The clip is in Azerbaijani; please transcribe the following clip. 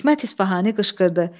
Hikmət İsfahani qışqırdı: